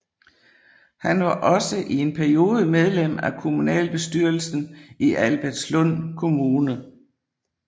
Han var også en periode medlem af kommunalbestyrelsen i Albertslund Kommune